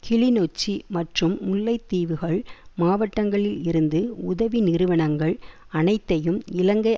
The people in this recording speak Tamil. கிளிநொச்சி மற்றும் முல்லை தீவுகள் மாவட்டங்களில் இருந்து உதவி நிறுவனங்கள் அனைத்தையும் இலங்கை